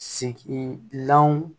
Segin lanw